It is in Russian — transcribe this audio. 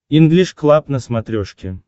инглиш клаб на смотрешке